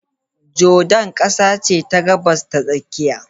Jordan kasa ce ta Gabas ta Tsakiya.